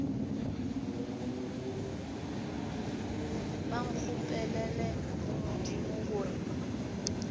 ba nkgopelele go modimo gore